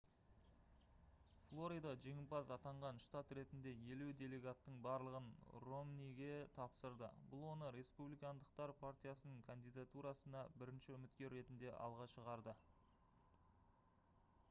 флорида жеңімпаз атанған штат ретінде елу делегаттың барлығын ромниге тапсырды бұл оны республикандықтар партиясының кандидатурасына бірінші үміткер ретінде алға шығарды